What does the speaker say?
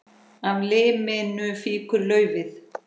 Af liminu fýkur laufið.